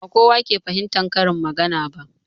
Ba kowa ke fahimtan karin magana ba